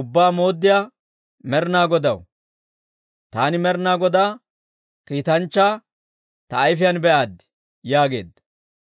Ubbaa Mooddiyaa Med'inaa Godaw, taani Med'inaa Godaa kiitanchchaa ta ayfiyaan be'aaddi!» yaageedda.